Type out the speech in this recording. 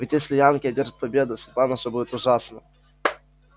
ведь если янки одержат победу судьба наша будет ужасна